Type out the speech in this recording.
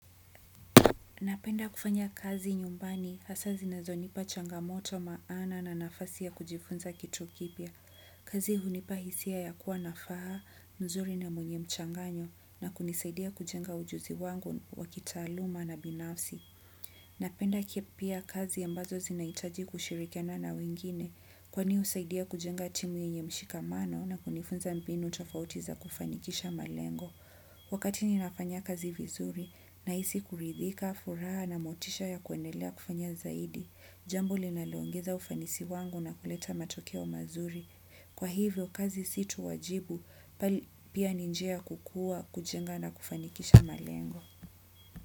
Napenda kufanya kazi nyumbani hasa zinazonipa changamoto maana na nafasi ya kujifunza kitu kipya. Kazi hunipa hisia ya kuwa nafaa mzuri na mwenye mchanganyo na kunisaidia kujenga ujuzi wangu wa kitaaluma na binafsi. Napenda pia kazi ambazo zinahitaji kushirikiana na wengine kwani husaidia kujenga timu yenye mshikamano na kunifunza mbinu tofauti za kufanikisha malengo. Wakati ninafanya kazi vizuri nahisi kuridhika, furaha na motisha ya kuendelea kufanya zaidi, jambo linaloongeza ufanisi wangu na kuleta matokeo mazuri. Kwa hivyo, kazi si tu wajibu bali pia ni njia ya kukua, kujenga na kufanikisha malengo.